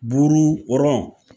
Buuru